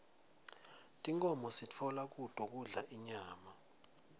tinkhomo sitfola kuto kudla inyama